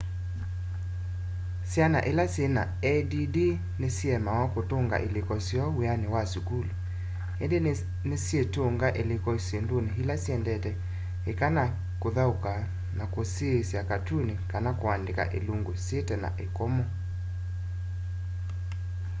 syana ila syina add ni siemawa kũtũnga ilĩko syoo wiani wa sukulu indi ni nisyitũnga ilĩko syinduni ila syendete ika ta kuthauka na kusyiisya katuni kana kuandika ilungu syitena ikomo